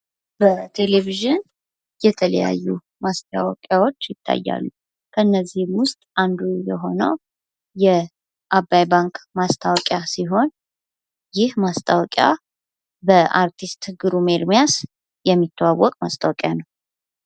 በቴሌቪዥን የተለያዩ ማስታወቂያዎች ይታያሉ። ከእነዚህም ውስጥ አንዱ የሆነው የአባይ ባንክ ማስታወቂያ ሲሆን ይህ ማስታወቂያ በአርቲስት ግሩም ኤርምያስ የሚተዋወቅ ማስታወቂያ ነው።